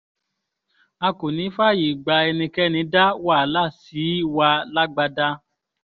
a kò ní í fààyè gba ẹnikẹ́ni dá wàhálà sí wa lágbádá